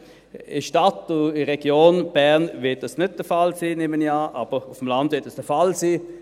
In der Stadt und in der Region Bern wird dies nicht der Fall sein, nehme ich an, aber auf dem Land wird dies der Fall sein.